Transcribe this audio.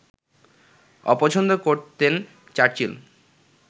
অপছন্দ করতেন চার্চিল